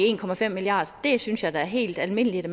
en milliard kr synes jeg da er helt almindeligt